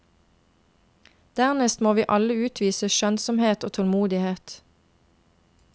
Dernest må vi alle utvise skjønnsomhet og tålmodighet.